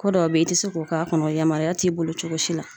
Ko dɔw be yen i te se k'o k'a kɔnɔ yamariya t'i bolo cogo si la.